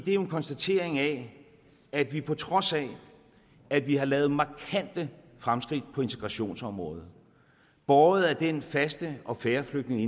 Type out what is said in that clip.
er jo en konstatering af at vi på trods af at vi har lavet markante fremskridt på integrationsområdet båret af den faste og fair flygtninge